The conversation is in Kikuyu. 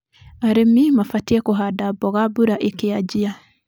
Arĩmi mabatie kũhanda mboga mbura ĩkĩajia.